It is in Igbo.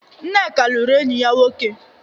Nneka lụrụ enyi ya nwoke.